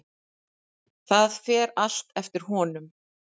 Það fer allt eftir honum.